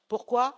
Pourquoi?